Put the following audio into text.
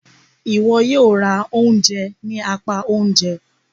Iwọ yóò rá oúnjẹ ni apá oúnjẹ!